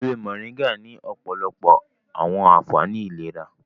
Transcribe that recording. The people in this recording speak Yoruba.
ewé Moringa ní òpòlopo àwọn ànfàní ìlera.